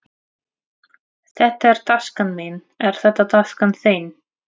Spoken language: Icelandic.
Þetta er taskan mín. Er þetta taskan þín?